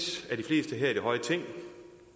af her i det høje ting